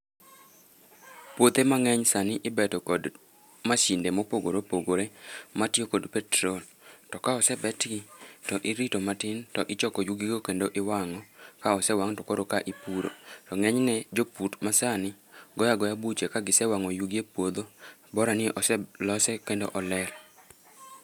Puothe mang'eny sani ibeto kod mashinde mopogore opogore, ma tiyo kod petrol, to ka osebetgi to irito matin to ichoko yugigo kendo iwang'o, ka osewang' koroka ipuro to ng'enyne jopur masani goyo agoya buche ka gisewang'o yugi e puodho, borani oselose kendo oler.